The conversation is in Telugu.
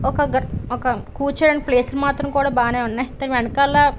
ఒక గంట ఒక కూర్చోడానికి ప్లేసు కూడా బానే ఉన్నాయి వెనకాల --